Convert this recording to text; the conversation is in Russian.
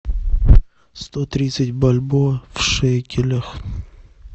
сто тридцать бальбоа в шекелях